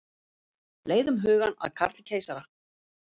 Leiðum hugann að Karli keisara.